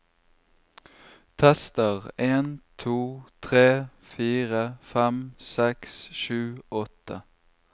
Tester en to tre fire fem seks sju åtte